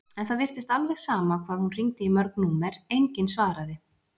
En það virtist alveg sama hvað hún hringdi í mörg númer, enginn svaraði.